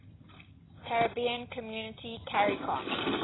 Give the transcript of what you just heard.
caribbean community caricom